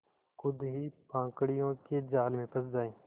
खुद ही पाखंडियों के जाल में फँस जाए